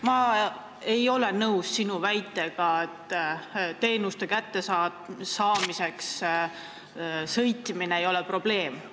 Ma ei ole nõus sinu väitega, et mõne teenuse kasutamiseks kuhugi kaugemale sõitmine ei ole probleem.